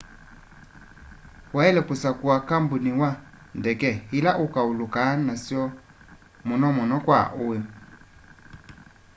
waile kusakua kambuni wa ndeke ila ukaulukaa nasyo muno muno kwa ui